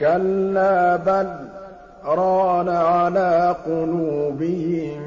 كَلَّا ۖ بَلْ ۜ رَانَ عَلَىٰ قُلُوبِهِم